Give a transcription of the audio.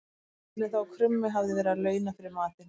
Skildist henni þá að krummi hafði verið að launa fyrir matinn.